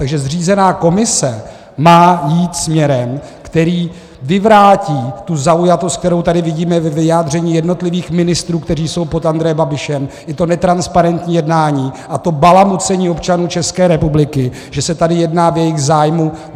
Takže zřízená komise má jít směrem, který vyvrátí tu zaujatost, kterou tady vidíme ve vyjádření jednotlivých ministrů, kteří jsou pod Andrejem Babišem, i to netransparentní jednání a to balamucení občanů České republiky, že se tady jedná v jejich zájmu.